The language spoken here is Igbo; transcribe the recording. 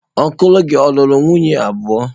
Ọncụl gị ọ̀ lụrụ nwunye abụọ?